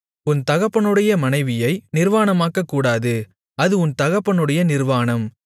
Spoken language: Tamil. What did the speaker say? உன் தகப்பனுடைய மனைவியை நிர்வாணமாக்கக்கூடாது அது உன் தகப்பனுடைய நிர்வாணம்